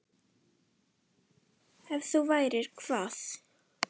Ef þú værir hvað?